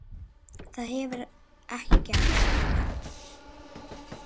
Það hefur ekki gerst.